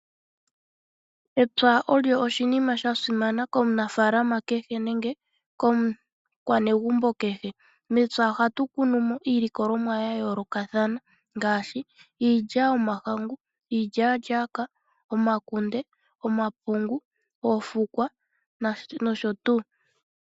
Epya olyo oshinima sha simana komunafaalama nenge komukwanegombo kehe . Mepya ohatu kunumo iilikolomwa ya yoolokathana ngaashi iilya yomahangu, iilyalyaaka, omakunde, omapungu oofukwa nosho tuu.